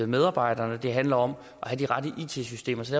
medarbejderne det handler om at have de rette it systemer så